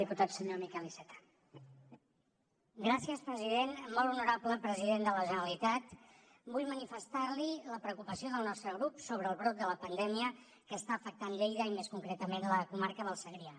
molt honorable president de la generalitat vull manifestar li la preocupació del nostre grup sobre el brot de la pandèmia que està afectant lleida i més concretament la comarca del segrià